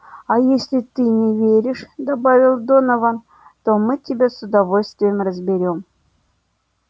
а если ты не веришь добавил донован то мы тебя с удовольствием разберём